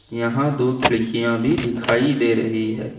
यहां दो खिड़कियां भी दिखाई दे रही है।